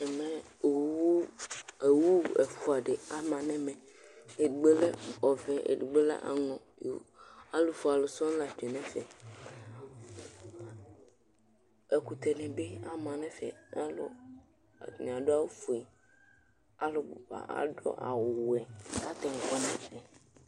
Ɛmɛ owu, owu ɛfuaɖi ama nu ɛmɛ Ɛdigbo lɛ ɔvɛ, eɖigbo aŋɔ Alufue ãlu sɔŋ la tsue nu ɛfɛ Ɛkutɛni bi ama nu ɛfɛ Alù, atani aɖu awu fue Alubu ba aɖu awu wɛ, ku atani waní nu ɛfɛ